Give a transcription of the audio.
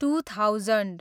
two thousand